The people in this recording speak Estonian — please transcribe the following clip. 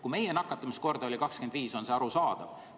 Kui meie nakatumiskordaja oli 25, siis oli see arusaadav.